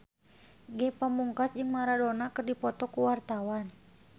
Ge Pamungkas jeung Maradona keur dipoto ku wartawan